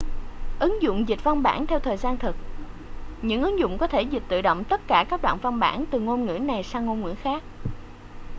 ứng dụng dịch văn bản theo thời gian thực những ứng dụng có thể dịch tự động tất cả các đoạn văn bản từ ngôn ngữ này sang ngôn ngữ khác